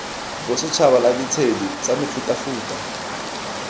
bosetšhaba la ditshedi tsa mefutafuta